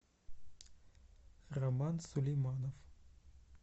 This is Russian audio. роман сулейманов